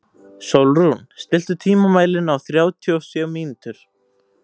Sólrún, stilltu tímamælinn á þrjátíu og sjö mínútur.